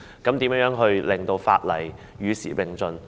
如何令法例與時並進？